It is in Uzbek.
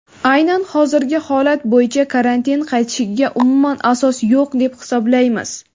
Aynan hozirgi holat bo‘yicha karantin qaytishiga umuman asos yo‘q deb hisoblaymiz.